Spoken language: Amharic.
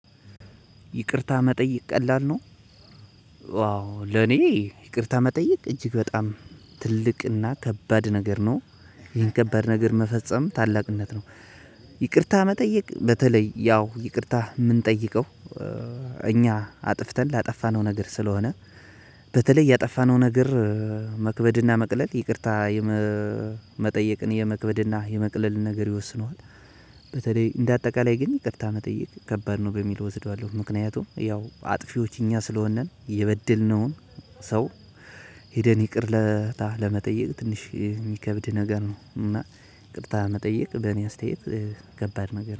ይቅርታ መጠየቅ ቀላል ነው። ዋው ለኔ ይቅርታ መጠየቅ እጅግ በጣም ትልቅና ከባድ ነገር ነው። ይሄን ከባድ ነገር መፈጸም ታላቅነት ነው። ይቅርታ መጠየቅ በተለይ ያው ይቅርታ የምንጠይቀው እኛ አጥፍተን ላጠፋነው ነገር ስለሆነ። በተለይ ያጠፋነው ነገር መክበድ እና መቅለል ይቅርታ የመጠየቅን የመክበድ እና የመቅለልን ነገርን ይወስነዋል። በተለይ እንደ አጠቃላይ ግን ይቅርታ መጠየቅ ከባድ ነው በሚል እወስደዋለሁ። ምክንያቱም ያው አጥፊዎች እኛ ስለሆንን የበደልነውን ሰው ሄደን ይቅር ለመጠየቅ ትንሽ የሚከብድ ነገር ነው። እና ይቅርታ መጠየቅ በእኔ አስተያየት ከባድ ነገር ነው